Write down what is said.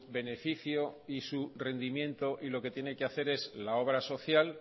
beneficio y su rendimiento y lo que tiene que hacer es la obra social